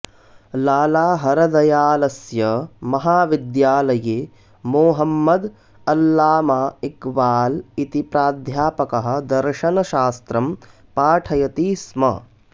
लाला हरदयालस्य महाविद्यालये मोहम्मद अल्लामा इक्बाल् इति प्राध्यापकः दर्शनशास्त्रं पाठयति स्म